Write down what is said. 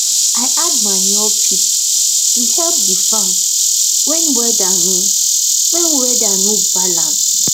i add manure pit to help the farm when weather no when weather no balance